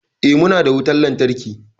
Eh, muna da wutan lantarki.